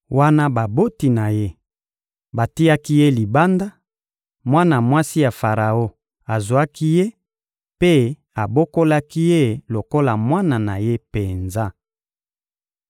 Wana baboti na ye batiaki ye libanda, mwana mwasi ya Faraon azwaki ye mpe abokolaki ye lokola mwana na ye penza.